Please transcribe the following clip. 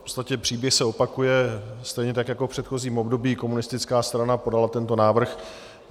V podstatě příběh se opakuje, stejně tak jako v předchozím období komunistická strana podala tento návrh.